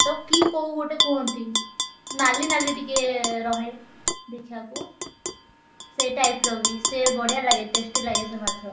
ତାକୁ କି କଉ ଗୋଟେ କୁହନ୍ତି। ନାଲି ନାଲି ଟିକେ ରହେ। ଦେଖିଆକୁ। ସେ type ର ବଢିଆ ଲାଗେ tasty ଲାଗେ ସେ ମାଛ।